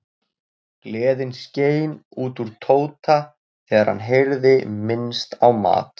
Gleðin skein út úr Tóta þegar hann heyrði minnst á mat.